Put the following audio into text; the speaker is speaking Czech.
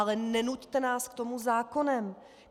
Ale nenuťte nás k tomu zákonem.